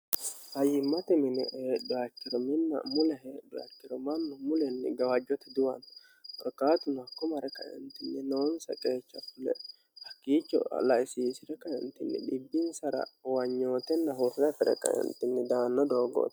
hayyimmate mini e diritiriminna mulehe birtirimannu mulenni gawaajjote duwanni korqaatunakku mare qaintinni noonsa qeecha fle hakkiicho laisiisire qaentinni dhibbinsara uwanyootenna horra fire kaentinni daanna doogoote